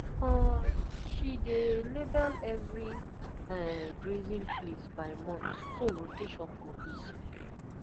um she dey label every um grazing place by month so rotation go easy